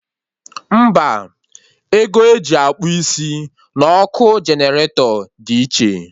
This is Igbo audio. Mba, ego eji akpụ isi na ọkụ generator dị iche